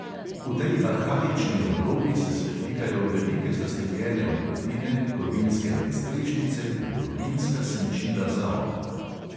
V tej arhaični oblogi se svetlikajo velike zastekljene odprtine, kovinske nadstrešnice in kovinska senčila za okna.